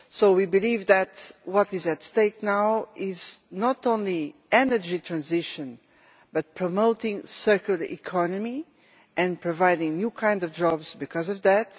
We believe that what is at stake now is not only energy transition but also promoting a circular economy and providing new kinds of jobs because of that